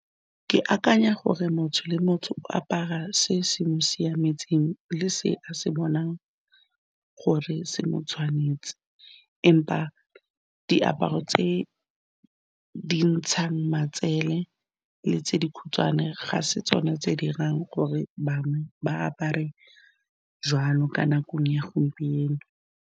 Ke akanya gore motho le motho o apara se se mo siametseng le se a se bonang gore se mo tshwanetse empa diaparo tse di ntshang matsele le tse dikhutshwane ga se tsone tse di dirang gore bangwe ba apare jalo ka nakong ya gompieno.